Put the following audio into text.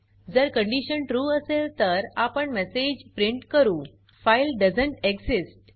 जर condition true असेल तर आपण मेसेज प्रिंट करू फाइल दोएसंत एक्सिस्ट